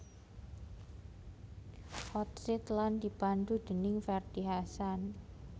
Hot Seat lan dipandhu déning Ferdy Hassan